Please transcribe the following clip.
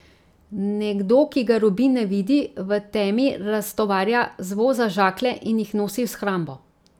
Nekdo, ki ga Rubin ne vidi, v temi raztovarja z voza žaklje in jih nosi v shrambo.